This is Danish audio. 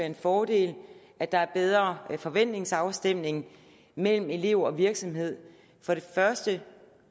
en fordel at der er bedre forventningsafstemning mellem elev og virksomhed for det første